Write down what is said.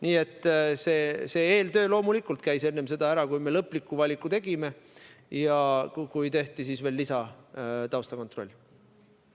Nii et see eeltöö loomulikult tehti ära enne seda, kui me lõpliku valiku tegime ja kui tehti veel lisataustakontroll.